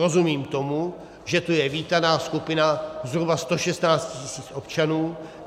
Rozumím tomu, že to je vítaná skupina zhruba 116 tisíc občanů.